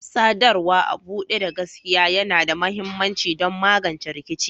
Sadarwa a buɗe da gaskiya yana da mahimmanci don magance rikici.